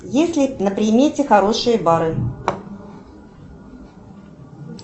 есть ли на примете хорошие бары